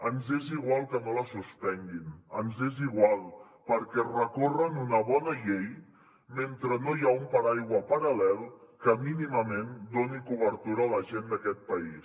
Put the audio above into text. ens és igual que no la suspenguin ens és igual perquè recorren una bona llei mentre no hi ha un paraigua paral·lel que mínimament doni cobertura a la gent d’aquest país